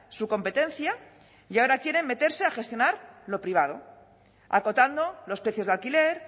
su competencia y ahora quieren meterse a gestionar lo privado acotando los precios de alquiler